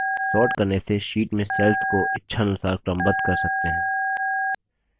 sorting करने से sheet में cells को इच्छा अनुसार क्रमबद्ध कर सकते हैं